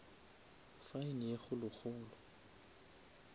fine ye kgolo kgolo